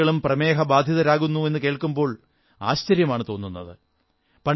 കുട്ടികളും പ്രമേഹബാധിതരാകുന്നു എന്നു കേൾക്കുമ്പോൾ ആശ്ചര്യമാണു തോന്നുന്നത്